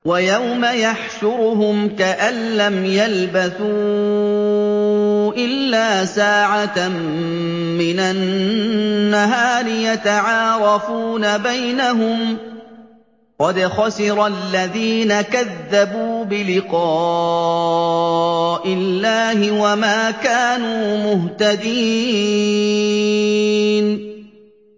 وَيَوْمَ يَحْشُرُهُمْ كَأَن لَّمْ يَلْبَثُوا إِلَّا سَاعَةً مِّنَ النَّهَارِ يَتَعَارَفُونَ بَيْنَهُمْ ۚ قَدْ خَسِرَ الَّذِينَ كَذَّبُوا بِلِقَاءِ اللَّهِ وَمَا كَانُوا مُهْتَدِينَ